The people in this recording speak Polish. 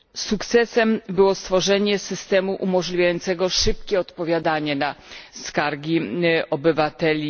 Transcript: Sukcesem było stworzenie systemu umożliwiającego szybkie odpowiadanie na skargi obywateli.